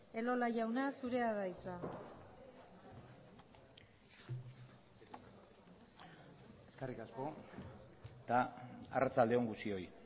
elola jauna zurea da hitza eskerrik asko eta arratsalde on guztioi